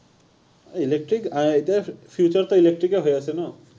electric আহ এতিয়া future টো electric এ হৈ আছে ন।